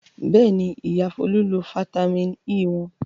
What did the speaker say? Bẹ́ẹ̀ni, Ìyá Folú lo fataímìn E wọn.